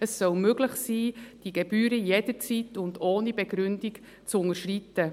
Es soll möglich sein, die Gebühren jederzeit und ohne Begründung zu unterschreiten.